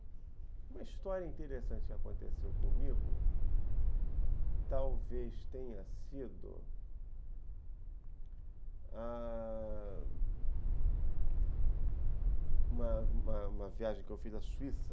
Uma história interessante que aconteceu comigo talvez tenha sido ãh uma uma viagem que eu fiz à Suíça.